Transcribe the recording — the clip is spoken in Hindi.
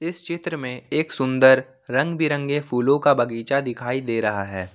इस चित्र में एक सुन्दर रंग बिरंगे फूलों का बगीचा दिखाई दे रहा है।